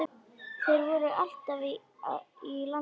Þeir voru alltaf í landi.